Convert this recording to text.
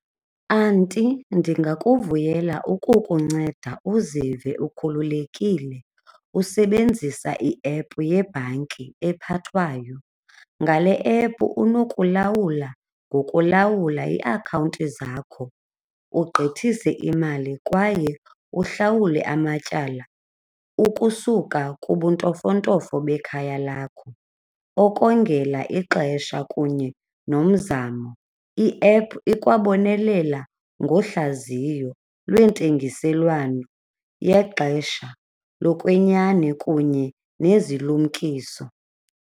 Anti, ndingakuvuyela ukukunceda uzive ukhululekile usebenzisa iephu yebhanki ephathwayo. Ngale ephu unokulawula ngokulawula iiakhawunti zakho, ugqithaise imali kwaye uhlawule amatyala ukusuka, kubuntofontofo bekhaya lakho, okongela ixesha kunye nomzamo. Iephu ikwabonelela ngohlaziyo lweentengiselwano yexesha lokwenyani kunye nezilumkiso.